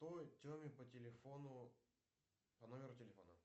той теме по телефону по номеру телефона